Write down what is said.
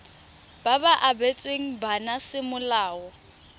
ba ba abetsweng bana semolao